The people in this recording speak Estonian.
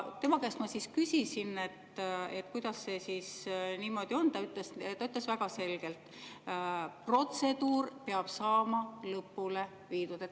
Tema käest ma siis küsisin, kuidas see niimoodi on, ja ta ütles väga selgelt, et protseduur peab saama lõpule viidud.